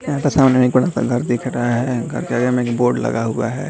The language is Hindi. यहाँ पर सामने मे बड़ा सा घर दिख रखा है। घर के आगे मे भी बोर्ड लगा हुआ है।